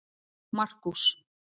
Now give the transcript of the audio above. Markús